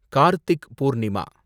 Karthik Purnima